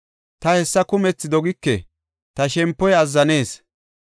Ta hessa kumethi dogike; ta shempoy azzanees.